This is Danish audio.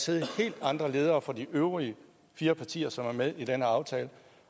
sidde helt andre ledere for de øvrige fire partier som er med i denne aftale